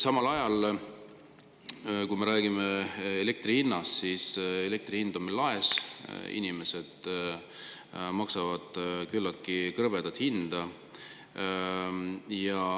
Samas, rääkides elektri hinnast, elektri hind on meil laes, inimesed maksavad küllaltki krõbedat hinda.